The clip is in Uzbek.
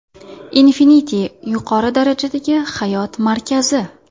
Infinity yuqori darajadagi hayot markazi!.